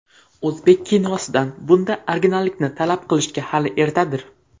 O‘zbek kinosidan bunday originallikni talab qilishga hali ertadir.